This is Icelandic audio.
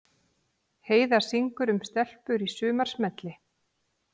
Heiða syngur um stelpur í sumarsmelli